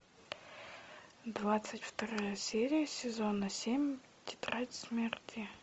двадцать вторая серия сезона семь тетрадь смерти